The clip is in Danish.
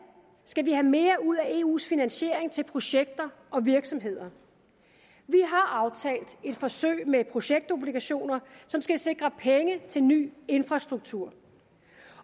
skal vi have mere ud af eus finansiering til projekter og virksomheder vi har aftalt et forsøg med projektobligationer som skal sikre penge til ny infrastruktur